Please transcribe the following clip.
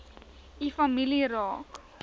u familie raak